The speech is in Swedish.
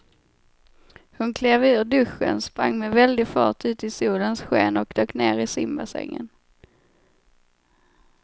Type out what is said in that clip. Hon klev ur duschen, sprang med väldig fart ut i solens sken och dök ner i simbassängen.